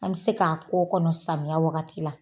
An bɛ se k'a ko kɔnɔ samiya wagati la.